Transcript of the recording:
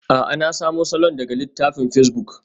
A'a, na samo salon daga littafin pacebuk.